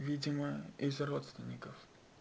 видимо из родственников